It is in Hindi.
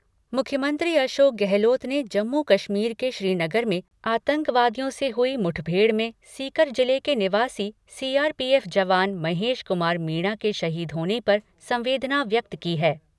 मुख्यमंत्री अशोक गहलोत ने जम्मू कश्मीर के श्रीनगर में आतंकवादियों से हुई मुठभेड़ में सीकर जिले के निवासी सीआरपीएफ जवान महेश कुमार मीणा के शहीद होने पर संवेदना व्यक्त की है।